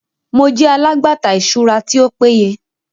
Mo jẹ alagbata iṣura ti o peye